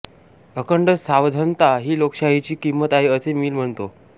अखंड सावधनता ही लोकशाहीची किंमत आहे असे मिल म्हणतो